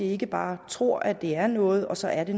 ikke bare tror at det er noget og så er det